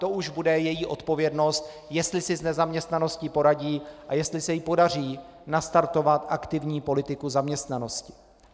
To už bude její odpovědnost, jestli si s nezaměstnaností poradí a jestli se jí podaří nastartovat aktivní politiku zaměstnanosti.